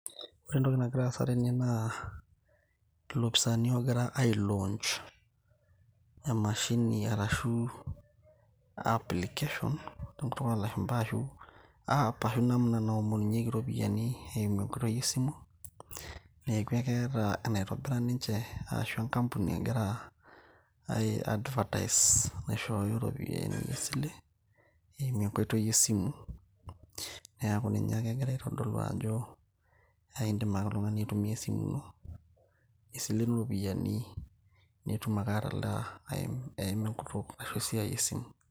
ore entoki nagira aasa tene naa ilopisani ogira ae launch emashini arashu application tenkutuk olashumpa ashu app, ashu namna[cs naomonunyieki iropiyiani eimu enkoitoi esimu neeku ekeeta enaitobira ninche ashu enkampuni egira ae advertise naishooyo iropiyiani esile eimu enkoitoi esimu neeku ninye ake egira aitodolu ajo aindim ake oltung'ani aitumia esimu ino nisilenu iropiyiani nitum ake atalaa eim enkutuk ashu esiai esimu.